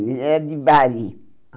Ele era de Bari. Ah